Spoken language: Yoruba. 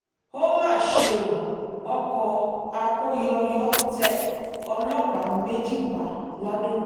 ó mà ṣe ó ọkọ̀ akóyọyọ tẹ ọlọ́pàá méjì pa lado